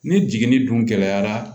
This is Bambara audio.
Ni jigini dun gɛlɛyara